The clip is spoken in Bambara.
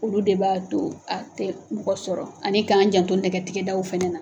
Olu de b'a to a tɛ mɔgɔ sɔrɔ ani k'an janto nɛgɛtigɛdaw fana na.